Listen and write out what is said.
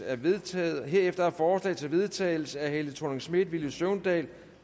er vedtaget herefter forslag til vedtagelse af helle thorning schmidt villy søvndal